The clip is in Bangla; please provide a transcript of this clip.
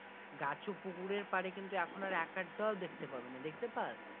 গাছ ও পুকুরের পাড়ে কিন্তু এখন আর এক একটাও দেখতে পাবি না দেখতে পাস?